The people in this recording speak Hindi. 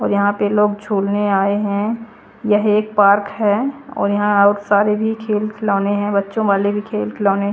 और यहाँ पे लोग जुलने आये है ये एक पार्क है और यहाँ और सारे भी खेल खिलोने है बच्चों वाले भी खेल खिलोने --